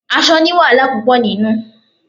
Aṣọ ni wàhálà púpò nínú.